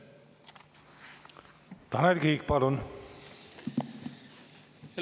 Tanel Kiik, palun!